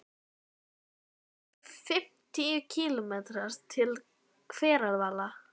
Héðan eru um fimmtíu kílómetrar til Hveravalla.